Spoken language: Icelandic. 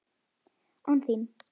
án þín.